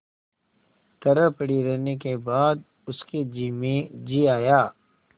तरह पड़ी रहने के बाद उसके जी में जी आया